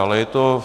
Ale je to...